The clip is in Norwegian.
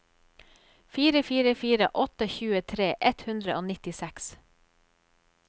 fire fire fire åtte tjuetre ett hundre og nittiseks